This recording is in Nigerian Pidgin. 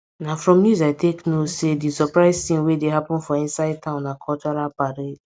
na from news i take know say di surprise thing wey dey happen for inside town na cultural parade